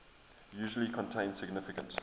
usually contain significant